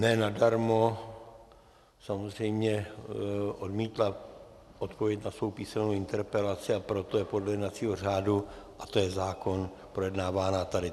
Ne nadarmo samozřejmě odmítla odpověď na svou písemnou interpelaci, a proto je podle jednacího řádu, a to je zákon, projednávána tady.